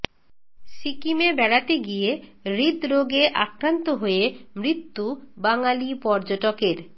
সিকিমে বেড়াতে গিয়ে হৃদরোগে আক্রান্ত হয়ে মৃত্যু বাঙালি পর্যটকের